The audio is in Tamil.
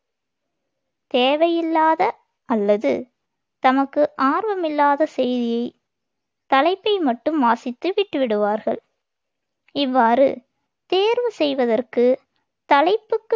தேவையில்லாத அல்லது தமக்கு ஆர்வமில்லாத செய்தியைத் தலைப்பை மட்டும் வாசித்து விட்டுவிடுவார்கள் இவ்வாறு தேர்வு செய்வதற்கு, தலைப்புக்கு